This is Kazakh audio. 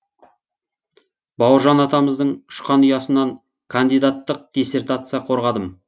бауыржан атамыздың ұшқан ұясынан кандидаттық диссертация қорғадым